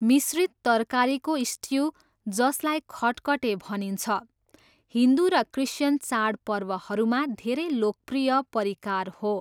मिश्रित तरकारीको स्ट्यू, जसलाई खटखटे भनिन्छ, हिन्दु र क्रिस्चियन चाडपर्वहरूमा धेरै लोकप्रिय परिकार हो।